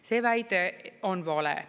See väide on vale.